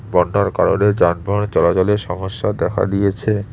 বন্যার কারণে যানবাহন চলাচলের সমস্যা দেখা দিয়েছে।